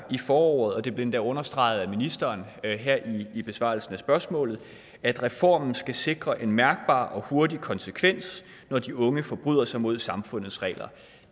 i forordet og det blev endda understreget af ministeren her i besvarelsen af spørgsmålet at reformen skal sikre en mærkbar og hurtig konsekvens når de unge forbryder sig mod samfundets regler